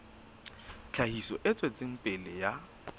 tlhahiso e tswetseng pele ya